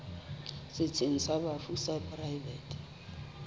setsheng sa bafu sa poraefete